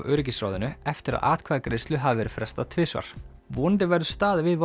öryggisráðinu eftir að atkvæðagreiðslu hafði verið frestað tvisvar vonandi verður staðið við